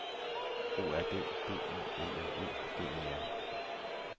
O R D B I L L E D E R